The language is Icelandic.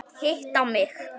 Hitta mig?